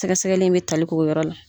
Sɛgɛ sɛgɛli in bɛ tali k'o yɔrɔ la.